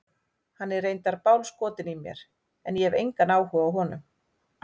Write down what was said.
Hann er reyndar bálskotinn í mér en ég hef engan áhuga á honum.